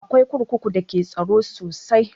Akwai kurkuku da ke da tsaro sosai